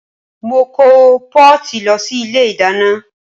Mo kó pọ́ọ̀tì lọ sí ilé ìdáná